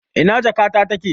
Ina jakata take?